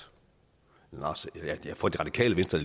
for det radikale venstre